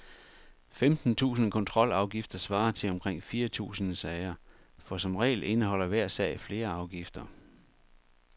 Femten tusinde kontrolafgifter svarer til omkring fire tusinde sager, for som regel indeholder hver sag flere afgifter.